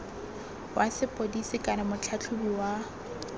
wa sepodisi kana motlhatlhobi wa